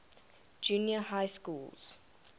junior high schools